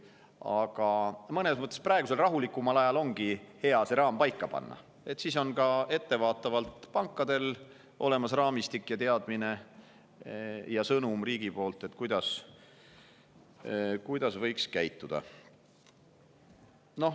Aga mõnes mõttes ongi hea praegusel rahulikumal ajal see raam paika panna, siis on pankadel ka ettevaatavalt olemas raamistik ja teadmine ning sõnum riigi poolt, kuidas võiks käituda.